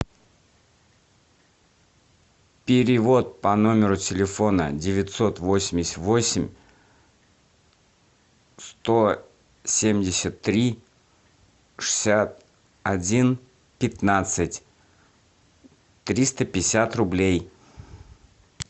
перевод по номеру телефона девятьсот восемьдесят восемь сто семьдесят три шестьдесят один пятнадцать триста пятьдесят рублей